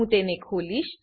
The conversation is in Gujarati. હું તેને ખોલીશ